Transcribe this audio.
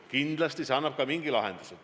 Kindlasti see annab ka mingi lahenduse.